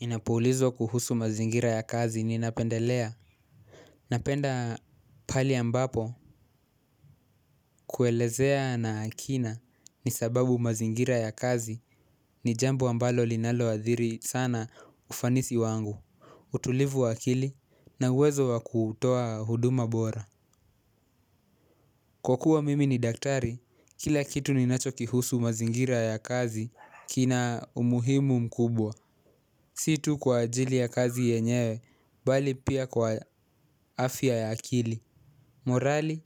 Ninapuulizwa kuhusu mazingira ya kazi ninapendelea. Napenda pale ambapo kuelezea na akina ni sababu mazingira ya kazi ni jambo ambalo linalo athiri sana ufanisi wangu. Utulivu wa akili na uwezo wa kutoa huduma bora. Kwa kuwa mimi ni daktari, kila kitu ninachoki husu mazingira ya kazi kina umuhimu mkubwa. Si tu kwa ajili ya kazi yenyewe, bali pia kwa afya ya akili, morali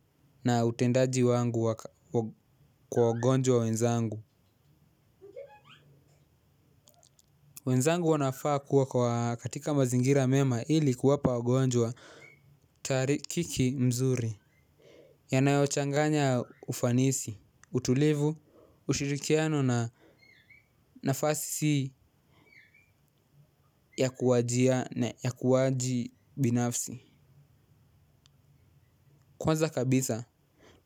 na utendaji wangu kwa ugonjwa wenzangu. Wenzangu wanafaa kuwa katika mazingira mema ili kuwapa wagonjwa tarikiki mzuri yanayochanganya ufanisi utulivu ushirikiano na nafasi ya ukuwaji binafsi. Kwanza kabisa,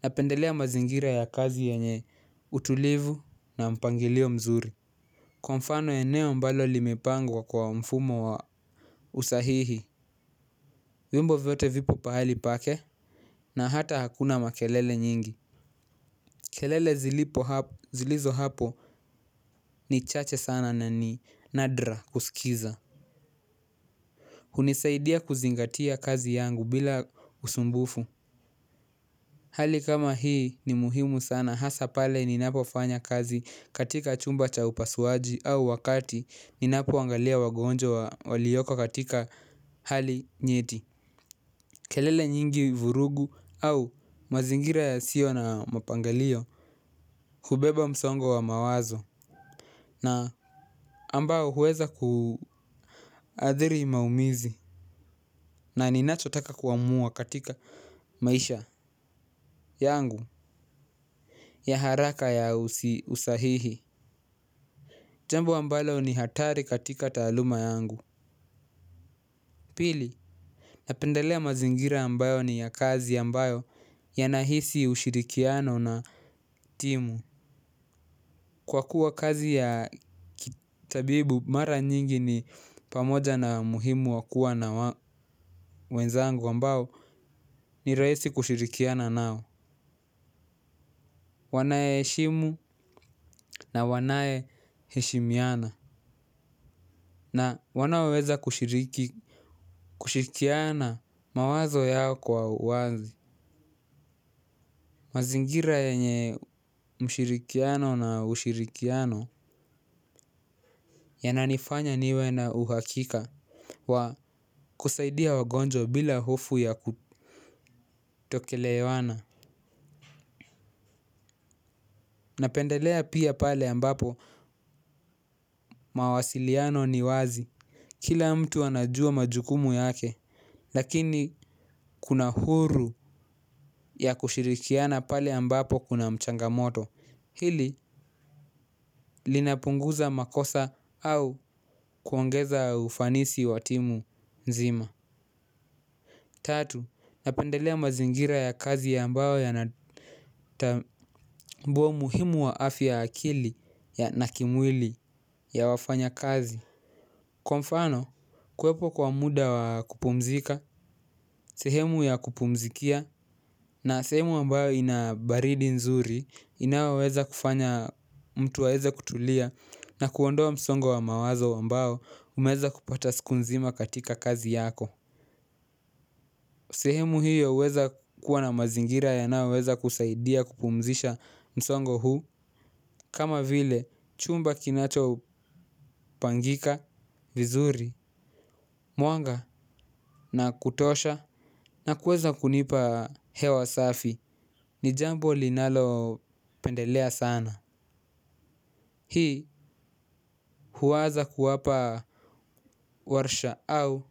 napendelea mazingira ya kazi yanye utulivu na mpangilio mzuri. Kwa mfano eneo mbalo limepangwa kwa mfumo wa usahihi. Wimbo vyote vipo pahali pake na hata hakuna makelele nyingi. Kelele zilizo hapo ni chache sana na ni nadra kusikiza. Hunisaidia kuzingatia kazi yangu bila usumbufu. Hali kama hii ni muhimu sana hasa pale ninapofanya kazi katika chumba cha upasuaji au wakati ninapuangalia wagonjwa walioko katika hali nyeti. Kelele nyingi vurugu au mazingira yasiyo na mapangalio hubeba msongo wa mawazo. Na ambao huweza kuathiri maumizi. Na ninacho taka kuamua katika maisha yangu. Ya haraka ya usahihi jambo ambalo ni hatari katika taaluma yangu. Pili, napendelea mazingira ambayo ni ya kazi ambayo yanahisi ushirikiano na timu. Kwa kuwa kazi ya kitabibu mara nyingi ni pamoja na umuhimu wa kuwa na wenzangu ambao ni rahisi kushirikiana nao. Wanayeshimu na wanayeshehimiana na wanaoweza kushiriki kushirikiana mawazo yao kwa uwazi. Mazingira yenye mshirikiano na ushirikiano ya nanifanya niwe na uhakika wa kusaidia wagonjwa bila hofu ya kutoelewana napendelea pia pale ambapo mawasiliano ni wazi kila mtu anajua majukumu yake lakini kuna huru ya kushirikiana pale ambapo kuna changamoto hili linapunguza makosa au kuongeza ufanisi wa timu nzima. Tatu napendelea mazingira ya kazi ya ambao yanatambua umuhimu wa afi ya akili na kimwili ya wafanya kazi. Kwa mfano, kuwepo kwa muda wa kupumzika, sehemu ya kupumzikia na sehemu ambayo inabaridi nzuri inayoweza kufanya mtu aweze kutulia na kuondoa msongo wa mawazo ambayo umeweza kupata siku nzima katika kazi yako. Sehemu hiyo huweza kuwa na mazingira yanayoweza kusaidia kupumzisha msongo huu. Kama vile chumba kinachopangika vizuri mwanga na kutosha. Na kuweza kunipa hewa safi ni jambo linalo pendelea sana. Hii huwaza kuwapa warsha au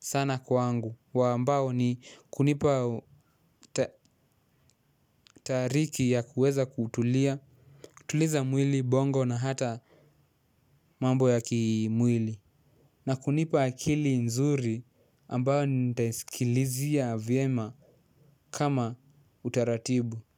sana kwangu. Wa ambao ni kunipa tahariki ya kuweza kutulia. Tuliza mwili bongo na hata mambo ya kimwili. Na kunipa akili nzuri ambayo nitaisikilizia vyema kama utaratibu.